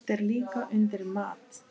Haft er líka undir mat.